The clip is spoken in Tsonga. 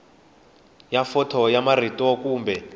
ya fonto ya marito kumbe